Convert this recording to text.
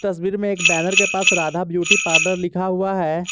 तस्वीर मे एक बैनर के पास राधा ब्यूटी पार्लर लिखा हुआ है।